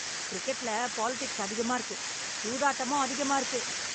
கிரிக்கெட்ல பாலிடிக்ஸ் அதிகமா இருக்கு சூதாட்டமும் அதிகமா இருக்கு.